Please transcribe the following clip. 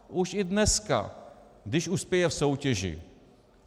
Už i dneska, když uspěje v soutěži.